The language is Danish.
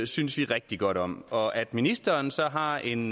synes vi rigtig godt om og at ministeren så har en